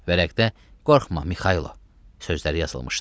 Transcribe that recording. Vərəqdə qorxma Mikaylo sözləri yazılmışdı.